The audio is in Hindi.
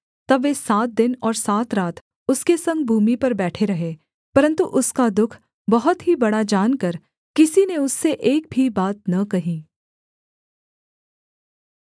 तब वे सात दिन और सात रात उसके संग भूमि पर बैठे रहे परन्तु उसका दुःख बहुत ही बड़ा जानकर किसी ने उससे एक भी बात न कही